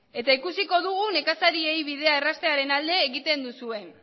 eta ikusiko dugu nekazariei bidea erraztearen alde egiten duzuen